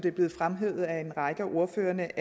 er blevet fremhævet af en række af ordførerne